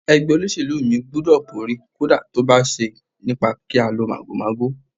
Ẹgbẹ́ olóṣèlú mi gbúdọ̀ borí, kódà tó bá ṣe nípa kí á lo màgòmágó.